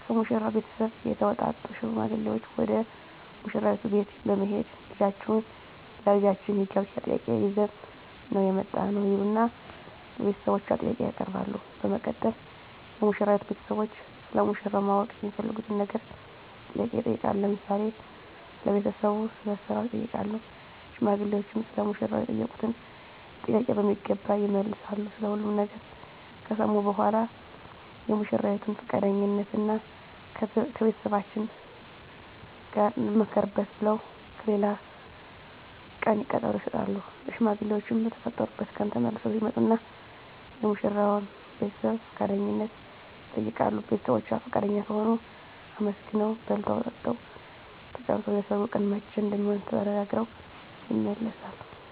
ከሙሽራው ቤተሰብ የተውጣጡ ሽማግሌዎች ወደ ሙሽራይቱ ቤት በመሄድ ልጃችሁን ለልጃችን የጋብቻ ጥያቄ ይዘን ነው የመጣነው ይሉና ለቤተሰቦቿ ጥያቄ ያቀርባሉ በመቀጠል የሙሽራይቱ ቤተሰቦች ስለ ሙሽራው ማወቅ የሚፈልጉትን ነገር ጥያቄ ይጠይቃሉ ለምሳሌ ስለ ቤተሰቡ ስለ ስራው ይጠይቃሉ ሽማግሌዎችም ሰለ ሙሽራው የተጠየቁትን ጥያቄ በሚገባ ይመልሳሉ ስለ ሁሉም ነገር ከሰሙ በኃላ የሙሽራይቱን ፍቃደኝነት እና ከቤተሰቦቻችን ጋር እንማከርበት ብለው ለሌላ ቀን ቀጠሮ ይሰጣሉ። ሽማግሌዎችም በተቀጠሩበት ቀን ተመልሰው ይመጡና የሙሽራዋን ቤተሰብ ፍቃደኝነት ይጠይቃሉ ቤተሰቦቿ ፍቃደኛ ከሆኑ አመስግነው በልተው ጠጥተው ተጫውተው የሰርጉ ቀን መቼ እንደሚሆን ተነጋግረው ይመለሳሉ።